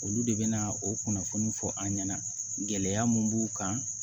Olu de bɛ na o kunnafoni fɔ an ɲɛna gɛlɛya mun b'u kan